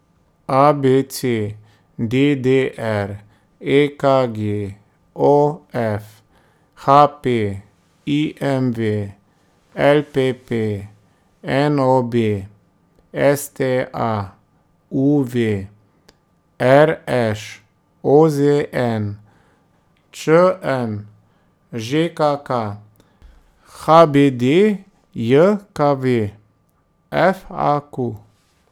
A B C; D D R; E K G; O F; H P; I M V; L P P; N O B; S T A; U V; R Š; O Z N; Č M; Ž K K; H B D J K V; F A Q.